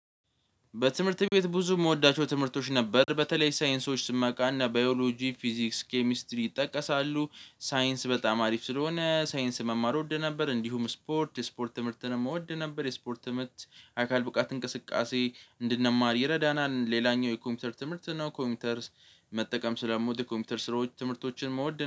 በትምህርት ቤት ብዙ የምወዳቸው ትምህርቶች ነበር በተለይ ሳይንሶች ስማቃና ባዮሎጂ ፊዚክስ ኬሚስትሪ ይጠቀሳሉ ሳይንስ በጣም አሪፍ ስለሆነ ሳይንስ መማር እወድ ነበር እንዲሁም ስፖርት ስፖርት ትምርትንም እወድ ነበር የስፖርት ትምህርት አካል ብቃት እንቅስቃሴ እንድንማር ይረዳናል። ሌላኛው የኮምፒውተር ትምህርት ነው ኮምፒውተር መጠቀም ስለምወድ ኮምፒውተር ስራዎች ትምህርቶችን መወደን